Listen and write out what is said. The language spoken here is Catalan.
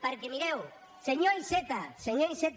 perquè mireu senyor iceta senyor iceta